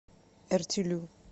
эртилю